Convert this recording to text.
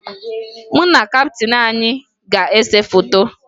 Mụ na kaptịn anyị ga-ese foto